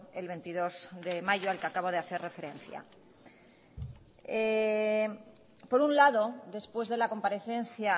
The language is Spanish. el veintidós de mayo al que acabo de hacer referencia por un lado después de la comparecencia